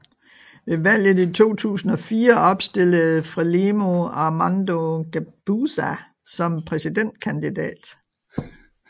Ved valget i 2004 opstillede Frelimo Armando Guebuza som præsidentkandidat